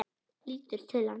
Lítur til hans.